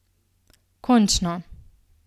Končno!